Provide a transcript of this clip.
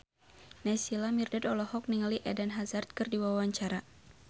Naysila Mirdad olohok ningali Eden Hazard keur diwawancara